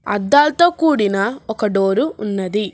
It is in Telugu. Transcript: అద్దాల్తో కూడిన ఒక డోరు ఉన్నది.